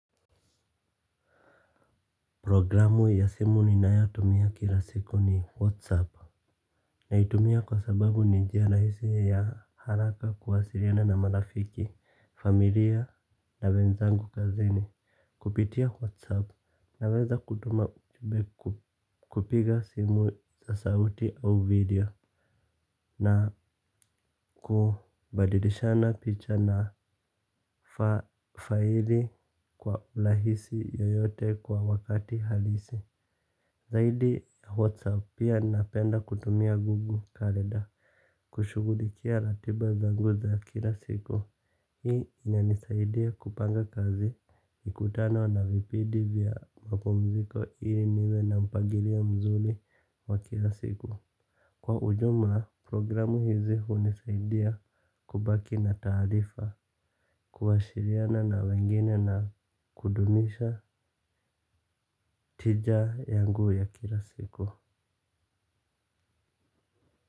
Programu ya simu ninayotumia kila siku ni whatsapp. Naitumia kwa sababu ni njia rahisi ya haraka kuwasiriana na marafiki, familia na wenzangu kazini. Kupitia whatsapp naweza kutuma ujube kupiga simu za sauti au video na kubadilishana picha na faili kwa lahisi yoyote kwa wakati halisi zaidi ya whatsapp pia napenda kutumia google calender kushugulikia ratiba zangu za kila siku. Hii inanisaidia kupanga kazi mikutano na vipidi vya mapumziko ili niwe na mpagilio mzuli wa kila siku. Kwa ujumla programu hizi hunisaidia kubaki na taarifa kuashiriana na wengine na kudunisha tija yangu ya kila siku.